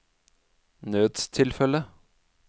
nødstilfelle